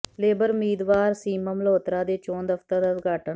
labour ਉਮੀਦਾਵਰ ਸੀਮਾ ਮਲਹੋਤਰਾ ਦੇ ਚੋਣ ਦਫ਼ਤਰ ਦਾ ਉਦਘਾਟਨ